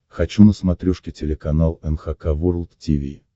хочу на смотрешке телеканал эн эйч кей волд ти ви